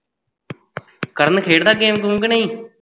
ਕਰਨ ਖੇਡਦਾ game ਗੂਮ ਕੇ ਨਹੀ